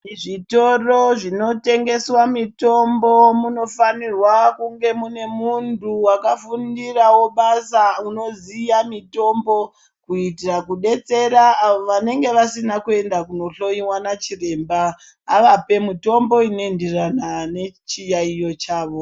Muzvitoro zvinotengeswa mitombo munofanirwa kunge mune muntu wakafundirawo basa unoziya mitombo kuitira kudetsera avo vanenge vasina kuenda kunohloiwa nachiremba avape mutombo inoenderana nechiyaiyo chavo.